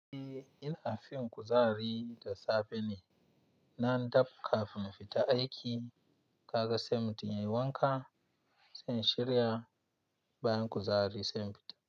E, ina fin kuzari da safe ne. Nan dab kafin fita aiki, kaga sai mutum yayi wanka, sai shirya, bayan kuzari sai fita.